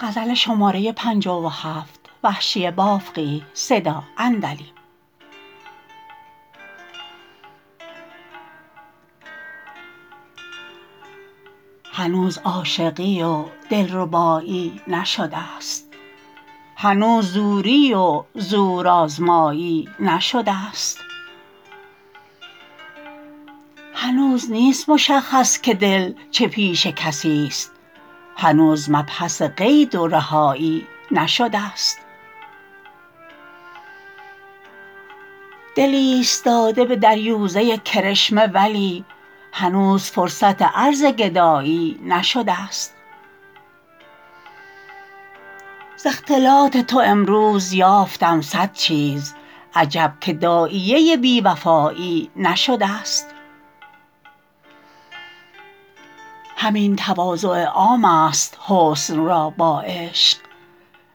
هنوز عاشقی و دلرباییی نشدست هنوز زوری و زور آزماییی نشدست هنوز نیست مشخص که دل چه پیش کسیست هنوز مبحث قید و رهاییی نشدست دل ایستاده به دریوزه کرشمه ولی هنوز فرصت عرض گداییی نشدست ز اختلاط تو امروز یافتم سد چیز عجب که داعیه بیوفاییی نشدست همین تواضع عام است حسن را با عشق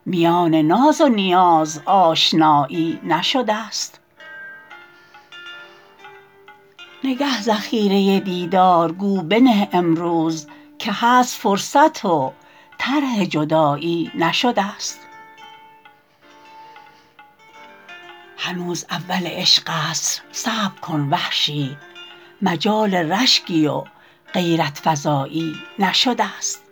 میان ناز و نیاز آشنایی نشدست نگه ذخیره دیدار گو بنه امروز که هست فرصت و طرح جداییی نشدست هنوز اول عشق است صبر کن وحشی مجال رشکی و غیرت فزاییی نشدست